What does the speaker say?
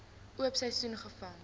oop seisoen gevang